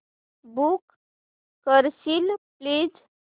book करशील please